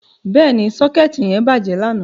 Bẹ́ẹ̀ni, socket yẹn bàjẹ́ lánàá.